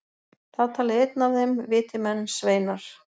Þá talaði einn af þeim, viti menn, sveinar!